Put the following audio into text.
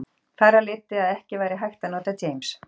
Þar af leiddi að ekki væri hægt að nota James